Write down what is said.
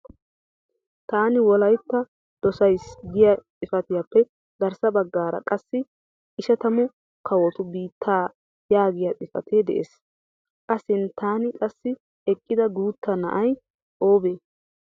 Taani Wolaytta doosays giya xifatiyappe garssa baggaara qassi ishatamu kawotu biittaa yaagiya xifatee des. A sinttan qassi iqqida guutta na'ay obee?